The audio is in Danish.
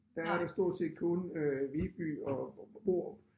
Der er der stort set kun øh Viby og Borup